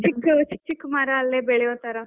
ಚಿಕ್, ಚಿಕ್ ಚಿಕ್ ಚಿಕ್ ಮರ ಅಲ್ಲೇ ಬೆಳೆಯೋ ತರಾ